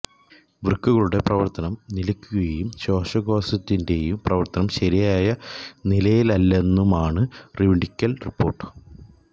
വൃക്കകളുടെ പ്രവർത്തനം നിലക്കുകയും ശ്വാസകോശത്തിന്റെയും പ്രവര്ത്തനം ശരിയായ നിലയിലല്ലെന്നുമാണ് മെഡിക്കൽ റിപ്പോർട്ട്